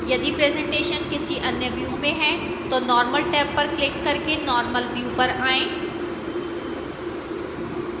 यदि presentation किसी any view में है तो normal tab पर क्लिक करके normal view पर आएं